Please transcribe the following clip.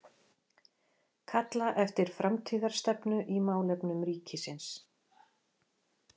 Kalla eftir framtíðarstefnu í málefnum ríkisins